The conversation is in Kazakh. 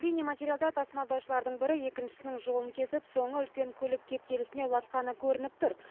бейнематериалда тасымалдаушылардың бірі екіншісінің жолын кесіп соңы үлкен көлік кептелісіне ұласқаны көрініп тұр